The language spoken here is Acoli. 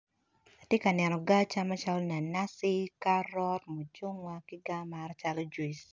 Atye ka neno gaa acama calo nanaci ki karot mucungwa ki gaa mata calo juice.